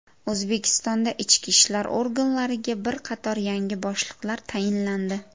O‘zbekistonda ichki ishlar organlariga bir qator yangi boshliqlar tayinlandi.